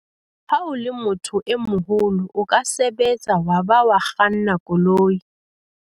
ha o le motho e moholo o ka sebetsa wa ba wa kganna koloi